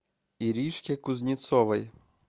иришке кузнецовой